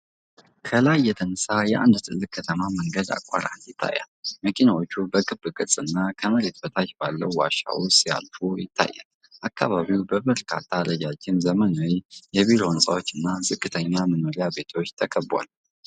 ከላይ የተነሳ የአንድ ትልቅ ከተማ መንገድ አቋራጭ ይታያል። መኪናዎች በክብ ቅርጽ እና ከመሬት በታች ባለው ዋሻ ውስጥ ሲያልፉ ይታያሉ። አከባቢው በበርካታ ረጃጅም ዘመናዊ የቢሮ ሕንፃዎች እና ዝቅተኛ መኖሪያ ቤቶች ተከቧል።